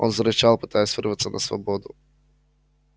он зарычал пытаясь вырваться на свободу